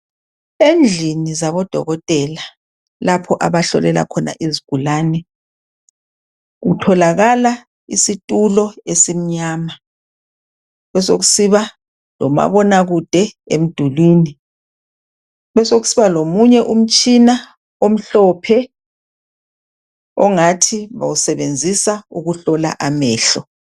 Endlini zabodokotela lapho abahlolela khona izigulane. Kutholakala isitulo esimnyama besokusiba lomabonakude emdulwini besokusiba lomumye umtshina omhlophe ongathi bawusebenzisa ukuhlola amehlo.